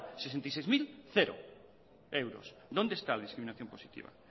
sesenta y seis mil cero euros dónde está la discriminación positiva